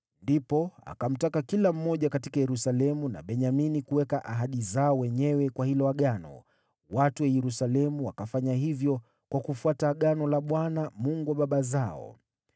Ndipo akamtaka kila mmoja katika Yerusalemu na Benyamini kuweka ahadi zao wenyewe kwa hilo Agano, watu wa Yerusalemu wakafanya hivyo kwa kufuata Agano la Bwana , Mungu wa baba zao.